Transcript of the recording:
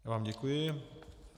Já vám děkuji.